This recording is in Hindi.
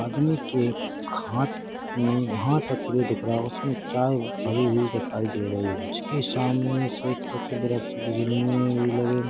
आदमी के एक हाथ मे हाथ अकेले दिख रहा हैं उसमे चाय भरी हुई दिखाई दे रही हैं उसके सामने कुछ वृक्ष बिजलियाँ भी लगी--